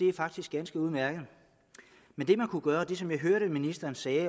er faktisk ganske udmærket men det man kunne gøre og det som jeg også hørte ministeren sige